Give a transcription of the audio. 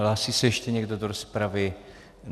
Hlásí se ještě někdo do rozpravy?